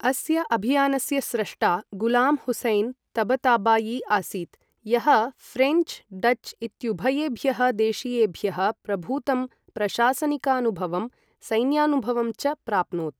अस्य अभियानस्य स्रष्टा गुलां हुसैन् तबताबायी आसीत्, यः फ्रेञ्च् डच् इत्युभयेभ्यः देशीयेभ्यः प्रभूतं प्रशासनिकानुभवं सैन्यानुभवं च प्राप्नोत्।